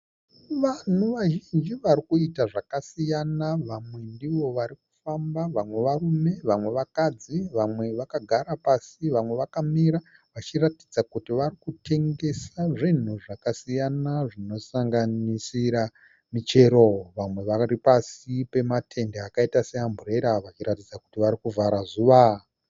Vanhu vazhinji varikuita zvakasiyana vamwe ndivo varikufamba vamwe varume vamwe vakadzi vamwe vakagara pasi vamwe vakamira vachiratidza kuti varikutengesa zvinhu zvakasiyana zvinosanganisira michero vamwe vari pasi pematende akaita seamburera vachiratidza kuti vari kuvhara zuva.